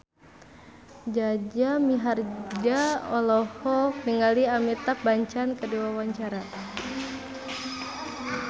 Jaja Mihardja olohok ningali Amitabh Bachchan keur diwawancara